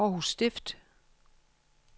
Århus Stift